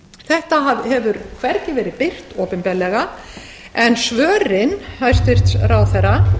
þetta hefur hvergi verið birt opinberlega en svör hæstvirtur ráðherra